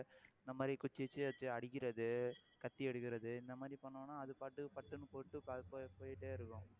இந்த மாதிரி குச்சி வச்சு அடிக்கிறது, கத்தி எடுக்கறது, இந்த மாதிரி பண்ணோம்ன்னா அது பாட்டுக்கு பட்டுன்னு போட்டு அது போ~ போயிட்டே இருக்கும்